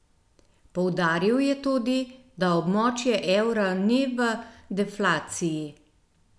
Poudaril je tudi, da območje evra ni v deflaciji.